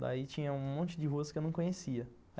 Daí tinha um monte de ruas que eu não conhecia.